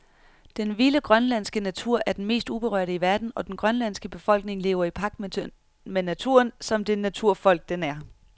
Den vilde grønlandske natur er den mest uberørte i verden, og den grønlandske befolkning lever i pagt med naturen, som det naturfolk den er.